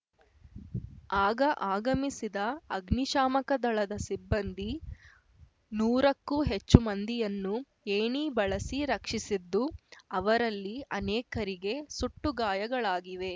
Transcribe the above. ಆಗ ಆಗಮಿಸಿದ ಅಗ್ನಿಶಾಮಕ ದಳದ ಸಿಬ್ಬಂದಿ ನೂರಕ್ಕೂ ಹೆಚ್ಚು ಮಂದಿಯನ್ನು ಏಣಿ ಬಳಸಿ ರಕ್ಷಿಸಿದ್ದು ಅವರಲ್ಲಿ ಅನೇಕರಿಗೆ ಸುಟ್ಟುಗಾಯಗಳಾಗಿವೆ